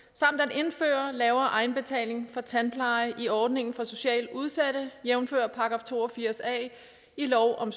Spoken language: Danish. at indføre lavere egenbetaling for tandpleje i ordningen for socialt udsatte jævnfør § to og firs a i lov om